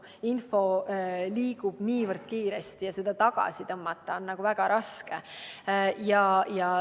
Info liigub niivõrd kiiresti ja seda tagasi tõmmata on väga raske.